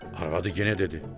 Arvadı yenə dedi: